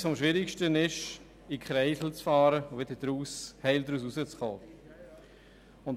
Etwas vom Schwierigsten ist es, in Kreisel hineinzufahren und wieder heil hinauszukommen.